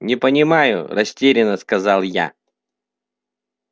не понимаю растерянно сказал я